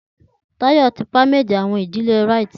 Tayo ti permed awọn ìdílé rites.